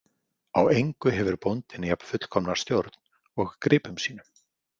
Á engu hefur bóndinn jafn fullkomna stjórn og gripum sínum.